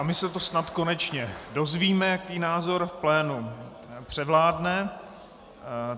A my se to snad konečně dozvíme, jaký názor v plénu převládne